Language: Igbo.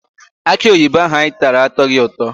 Akịoyibo ahụ anyị tara atọghị ụtọ.